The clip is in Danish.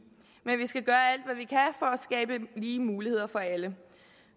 men vi skal gøre alt at skabe lige muligheder for alle